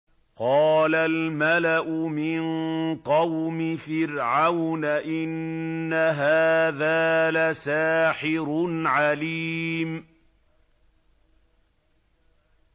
قَالَ الْمَلَأُ مِن قَوْمِ فِرْعَوْنَ إِنَّ هَٰذَا لَسَاحِرٌ عَلِيمٌ